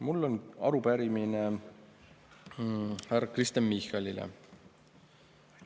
Mul on arupärimine härra Kristen Michalile.